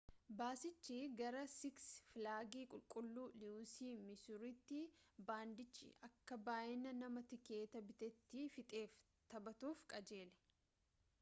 baasichi gara siks filaagi qulqulluu liiwusii misuuritti baandiichi akka baayyina namaa tikeeta bitatee fixeef taphatuuf qajeele